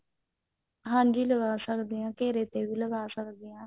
ਹਾਂਜੀ ਲਗਾ ਸਕਦੇ ਹਾਂ ਘੇਰੇ ਤੇ ਵੀ ਲਗਾ ਸਕਦੇ ਹਾਂ